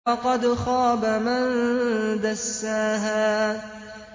وَقَدْ خَابَ مَن دَسَّاهَا